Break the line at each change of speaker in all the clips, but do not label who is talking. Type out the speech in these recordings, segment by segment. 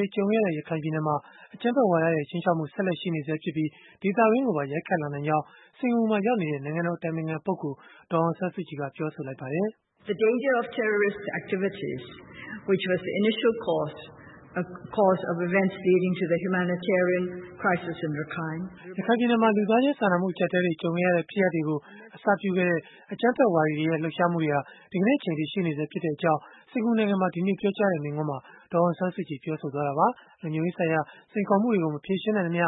ွေ ကြုံခဲ့ရတဲ့ ရခိုင်ပြည်နယ်မှာ အကြမ်းဖက်ဝါဒရဲ့ ခြိမ်းခြောက်မှု ဆက်လက်ရှိနေဆဲဖြစ်ပြီး၊ ဒေသတွင်းကိုပါ ရိုက်ခတ်လာနိုင်ကြောင်း စင်္ကာပူမှာ ရောက်နေတဲ့ နိုင်ငံတော်အတိုင်ပင်ခံပုဂ္ဂိုလ် ဒေါ်အောင်ဆန်းစုကြည် က ပြောဆိုလိုက်ပါတယ်။ ရခိုင်ပြည်နယ်မှာ လူသားချင်းစာနာမှု အကြပ်အတည်းတွေ ကြုံခဲ့ရတဲ့ ဖြစ်ရပ်တွေကို အစပြုခဲ့တဲ့ အကြမ်းဖက်ဝါဒီတွေရဲ့ လှုပ်ရှားမှုတွေဟာ ဒီကနေ့ အချိန်အထိ ရှိနေဆဲဖြစ်ကြောင်း စင်္ကာပူနိုင်ငံမှာ ဒီနေ့ပြောကြားခဲ့တဲ့ မိန့်ခွန်းထဲမှာ ဒေါ်အောင်ဆန်းစုကြည်က ပြောဆိုလိုက်တာပါ။ လုံခြုံရေးဆိုင်ရာ စိန်ခေါ်မှုတွေကို မဖြေရှင်းနိုင်သမျှ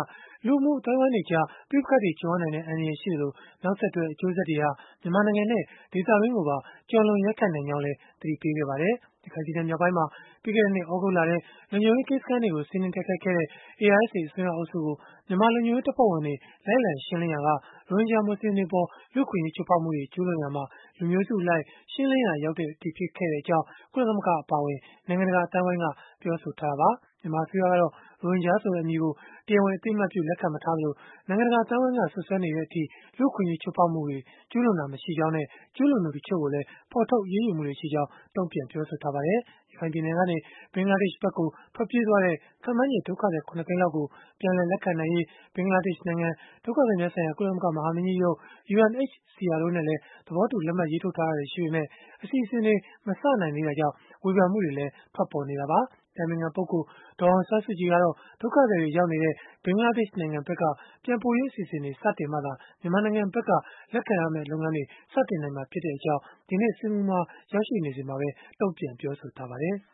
လူမှုအသိုင်းအဝန်းတွေကြား ပဋိပက္ခတွေ ကြုံရနိုင်တဲ့ အန္တရာယ်ရှိသလို၊ နောက်ဆက်တွဲ အကျိုးဆက်တွေဟာ မြန်မာနိုင်ငံနဲ့ ဒေသတွင်းကိုပါ ကျော်လွန် ရိုက်ခတ်နိုင်ကြောင်းလည်း သတိပေးခဲ့ပါတယ်။ ရခိုင်ပြည်နယ် မြောက်ပိုင်းမှာ ပြီးခဲ့တဲ့နှစ် သြဂုတ်လထဲ လုံခြုံရေးကင်းစခန်းတွေကို စီးနင်းတိုက်ခိုက်ခဲ့တဲ့ ARSA အစွန်းရောက်အုပ်စုကို မြန်မာလုံခြုံရေးတပ်ဖွဲ့တွေ လိုက်လံရှင်းလင်းရာက ရိုဟင်ဂျာမူဆလင်တွေအပေါ် လူ့အခွင့်အရေး ချိုးဖောက်မှုတွေ ကျုးလွန်ရာမှာ လူမျိုးစုအလိုက် ရှင်းလင်းရာ ရောက်ခဲ့ကြောင်း ကုလသမဂ္ဂ အပါအဝင် နိုင်ငံတကာ အသိုင်းအဝန်းက ပြောဆိုထားကြတာပါ။ မြန်မာအစိုးရကတော့ ရိုဟင်ဂျာဆိုတဲ့ အမည်ကို တရားဝင် အသိအမှတ်ပြု လက်ခံမထားသလို၊ နိုင်ငံတကာ အသိုင်းအဝန်းက စွပ်စွဲနေတဲ့အထိ လူ့အခွင့်အရေး ချိုးဖောက်မှုတွေ ကျုးလွန်ခဲ့တာ မရှိကြောင်းနဲ့ ကျုးလွန်သူတချို့ကိုလည်း ဖော်ထုတ်အရေးယူမှုတွေ ရှိခဲ့ကြောင်းလည်း တုံ့ပြန်ပြောဆိုထားပါတယ်။ ရခိုင်ပြည်နယ်ကနေ ဘင်္ဂလားဒေ့ရှ်နိုင်ငံဘက်ကို ထွက်ပြေးသွားတဲ့ ခန့်မှန်းချေ ဒုက္ခသည် ၇ သိန်းလောက်ကို ပြန်လည်လက်ခံနိုင်ရေး ဘင်္ဂလားဒေ့ရှ်နိုင်ငံ၊ ဒုက္ခသည်များဆိုင်ရာ ကုလသမဂ္ဂ မဟာမင်းကြီးရုံး (UNHCR) တို့နဲ့ သဘောတူလက်မှတ် ရေးထိုးထားတာတွေ ရှိပေမဲ့ အစီအစဉ်တွေ မစနိုင်သေးတဲ့အတွက်လည်း ဝေဖန်မှုတွေ ထွက်ပေါ်နေတာပါ။ အတိုင်ပင်ခံပုဂ္ဂိုလ် ဒေါ်အောင်ဆန်းစုကြည် ကတော့ ဒုက္ခသည်တွေ ရောက်ရှိနေတဲ့ ဘင်္ဂလားဒေ့ရှ် နိုင်ငံဘက်က ပြန်ပို့ရေးအစီအစဉ်တွေ စတင်မှသာ မြန်မာနိုင်ငံဘက်က လက်ခံတဲ့ လုပ်ငန်းတွေ စနိုင်မှာဖြစ်ကြောင်းလည်း ဒီနေ့စင်္ကာပူနိုင်ငံမှာ ရောက်ရှိနေစဉ်မှာပဲ တုံ့ပြန်ပြောဆိုထားပါတယ်။